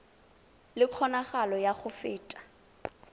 le kgonagalo ya go feta